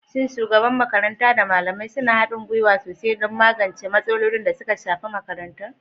Shin shugaban makaranta da malamai suna haɗin gwiwa sosai don magance matsalolin da suka shafi makarantar?